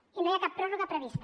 i no hi ha cap pròrroga prevista